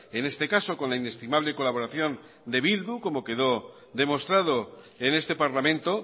en este caso con la inestimable colaboración de bildu como quedó demostrado en este parlamento